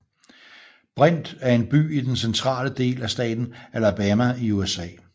Brent er en by i den centrale del af staten Alabama i USA